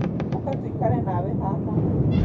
ũka tũikare nawe haha